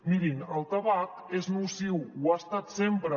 mirin el tabac és nociu ho ha estat sempre